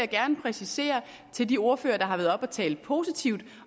gerne præcisere til de ordførere der har været oppe og tale positivt